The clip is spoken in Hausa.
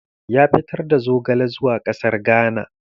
Ya fitar da zogale zuwa ƙasar Ghana